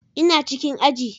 Ina cikin aji